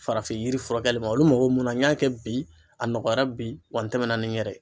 Farafin yiri furakɛli ma olu mago mun na n y'a kɛ bi a nɔgɔyara bi wa n tɛmɛna ni n yɛrɛ ye.